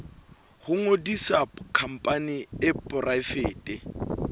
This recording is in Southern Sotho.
ho ngodisa khampani e poraefete